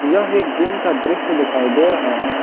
यह एक जिम का दृश्य दिखाई दे रहा है।